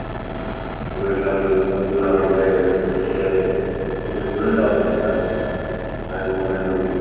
আমাদের দেশের থেকে তুলে দেওয়া দরকার আমি মনে করি।